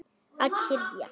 Að kyrja.